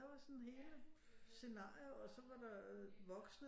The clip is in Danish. Der var sådan hele scenarier og så var der voksne